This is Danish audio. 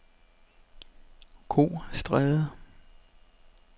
Kostræde